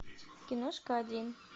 киношка один